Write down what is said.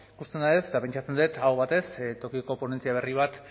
ikusten da ez eta pentsatzen dut aho batez tokiko ponentzia berri bat